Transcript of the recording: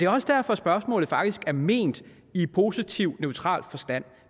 også derfor at spørgsmålet faktisk er ment positivt i neutral forstand